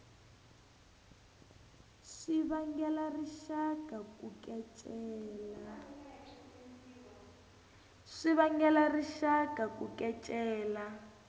swi vangela rixaka ku kecela